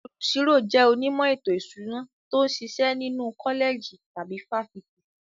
Olùṣirò jẹ́ onímọ̀ ètò ìṣúná tó ń ṣiṣẹ́ nínú kọ́lẹ̀jì tàbí fáfitì.